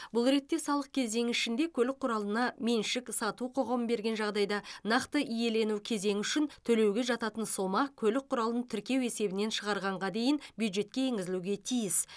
бұл ретте салық кезеңі ішінде көлік құралына меншік сату құқығын берген жағдайда нақты иелену кезеңі үшін төлеуге жататын сома көлік құралын тіркеу есебінен шығарғанға дейін бюджетке енгізілуге тиіс